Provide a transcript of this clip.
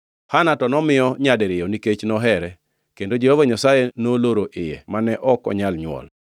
Hana to nomiyo nyadiriyo nikech nohere, kendo Jehova Nyasaye noloro iye mane ok onyal nywol.